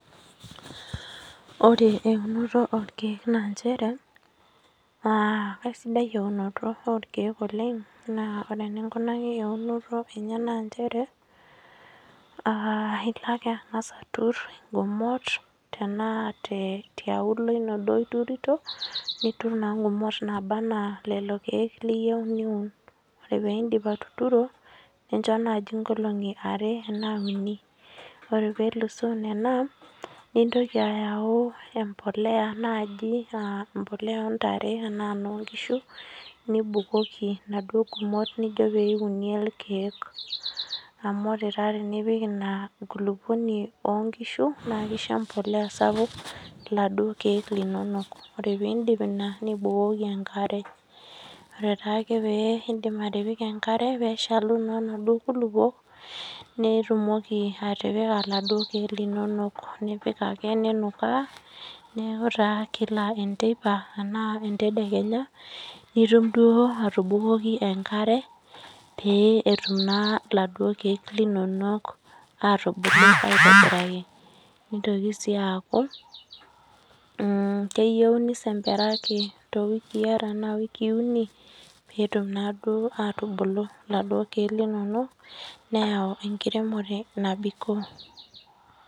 Ore eunoto orkeek nanchere uh kaisidai eunoto orkeek oleng naa ore eninkunaki eunoto enye nanchere uh ilo ake ang'as aturr ingumot tenaa te tiaulo duo ino iturito niturr naa ingumot naaba anaa lolo keek liyieu niun ore peindip atuturo nincho naaji inkolong'i are enaa uni ore pelusoo nena nijntoki ayau empoleya naaji uh empoleya ontare enaa enoonkishu niibukoki inaduo gumot nijio pee iunie ilkeek amu ore taa tinipik ina kulupuoni onkishu naa kisho empoleya sapuk iladuo keek linonok ore pindip ina nibukoki enkare ore taake pee indim atipika enkare peeshalu naa inaduo kulupuok nitumoki atipika iladuo keek linonok nipik ake ninukaa neeku taa kila enteipa enaa entedekenya nitum duo atubukoki enkare pee etum naa iladuo keek linonok atubulu aitobiraki nitoki sii aaku mh keyieu nisemperaki towikii are anaa iwikii uni peetum naaduo atubulu iladuo keek linonok neyau enkiremore nabikoo.